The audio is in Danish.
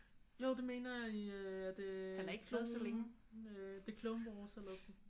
Jo det mener jeg i er det klon øh the Clone Wars eller sådan?